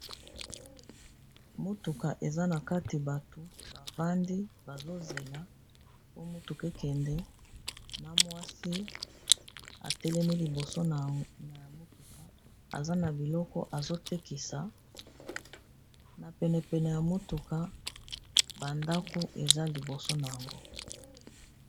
Motuka eza na kati bato bavandi bazozela po motukakende na mwasi atelemi liboso na ya motuka, aza na biloko azotekisa na penepene ya motuka bandaku eza liboso na yango.